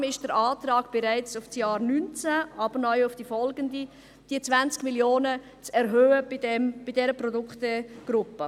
Deshalb betrifft der Antrag, wonach diese Produktegruppe neu um 20 Mio. Franken zu erhöhen ist, bereits das Jahr 2019, aber auch die Folgejahre.